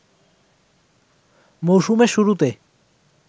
মৌসুমের শুরুতে